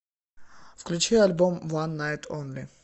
включи альбом ван найт онли